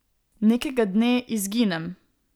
Nekega dne izginem.